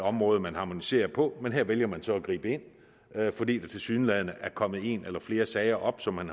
område man harmoniserer på men her vælger man så at gribe ind fordi der tilsyneladende er kommet en eller flere sager op som man